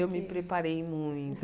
Eu me preparei muito.